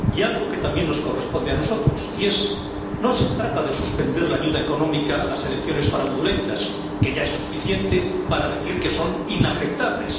Y algo que también nos corresponde a nosotros no se trata de suspender la ayuda económica a las elecciones fraudulentas, que ya es suficiente, para decir que son inaceptables.